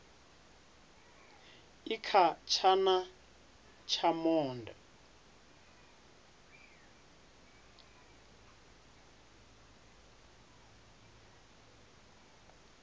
i kha tshana tsha monde